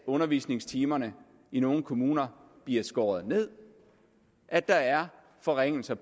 af undervisningstimer i nogle kommuner bliver skåret ned at der er forringelser